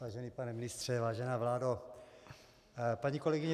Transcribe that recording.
Vážený pane ministře, vážená vládo, paní kolegyně